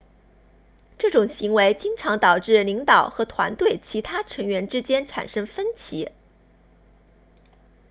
这种行为经常导致领导和团队其他成员之间产生分歧